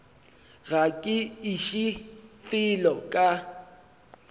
ga ke iše felo ka